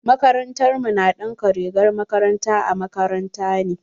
Makarantar mu na ɗinka rigar makaranta a makaranta ne.